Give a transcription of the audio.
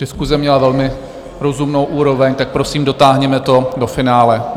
Diskuse měla velmi rozumnou úroveň, tak prosím, dotáhněme to do finále.